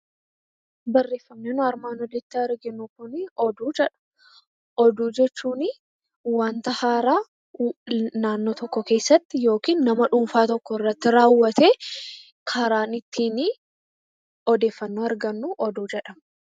Oduu jechuun wanta haaraa naannoo tokko keessatti yookiin nama dhuunfaa irratti raawwate ittiin odeeffannoo argannudha.